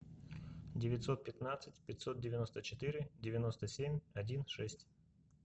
девятьсот пятнадцать пятьсот девяносто четыре девяносто семь один шесть